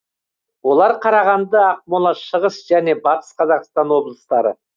олар қарағанды ақмола шығыс және батыс қазақстан облыстары